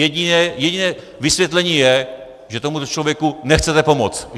Jediné vysvětlení je, že tomu člověku nechcete pomoct.